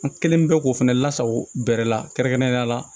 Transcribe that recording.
An kɛlen bɛ k'o fɛnɛ lasago bɛrɛ la kɛrɛnkɛrɛnnenya la